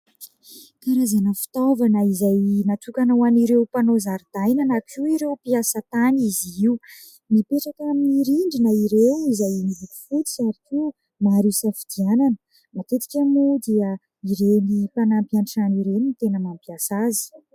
Karazana fitaovana izay natokana ho an'ireo mpanao zaridaina na koa ireo mpiasa tany izy io. Mipetraka amin'ny rindrina ireo izay miloko fotsy ary koa maro isafidianana. Matetika moa dia ireny mpanampy an-trano ireny no tena mampiasa azy.